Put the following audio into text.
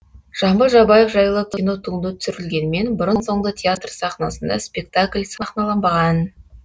жамбыл жабаев жайлы кинотуынды түсірілгенмен бұрын соңды театр сахнасында спектакль сахналанбаған